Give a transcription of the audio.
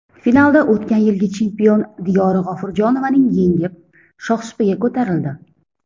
Finalda o‘tgan yilgi chempion Diyora G‘ofurjonovaning yengib, shohsupaga ko‘tarildi.